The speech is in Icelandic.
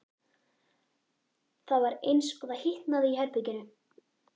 Það var eins og það hitnaði í herberginu.